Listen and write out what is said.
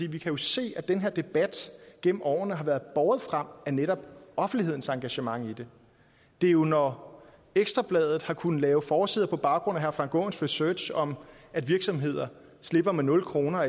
vi kan se at den her debat gennem årene har været båret frem af netop offentlighedens engagement i det det er jo når ekstra bladet har kunnet lave forsider på baggrund af herre frank aaens research om at virksomheder slipper med nul kroner